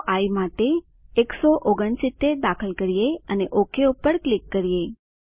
ચાલો આઇ માટે 169 દાખલ કરીએ અને ઓક ઉપર ક્લિક કરીએ